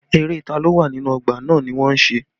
Eré ta lo wà nínú ọgbà náà ni wọ́n ń ṣe